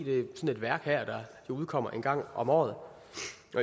det værk der udkommer en gang om året